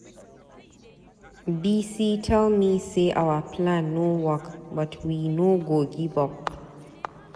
Bisi tell me say our plan no work but we no go give up.